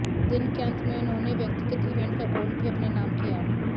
दिन के अंत में उन्होंने व्यक्तिगत इवेंट का गोल्ड भी अपने नाम किया